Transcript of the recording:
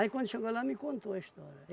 Aí quando chegou lá, me contou a história.